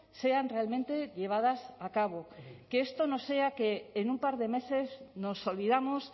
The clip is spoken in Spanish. sean realmente llevadas a cabo que esto no sea que en un par de meses nos olvidamos